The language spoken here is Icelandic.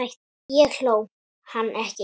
Ég hló, hann ekki.